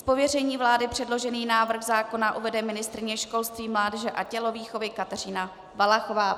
Z pověření vlády předložený návrh zákona uvede ministryně školství, mládeže a tělovýchovy Kateřina Valachová.